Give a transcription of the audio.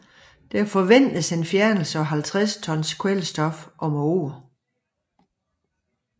Der forventes en fjernelse på 50 tons kvælstof om året